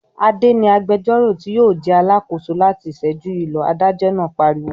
"Adé ni agbẹjọ́rò tí yóò jẹ́ alákòóso láti ìṣẹ́jú yìí lọ!" Adájọ́ náà pariwo.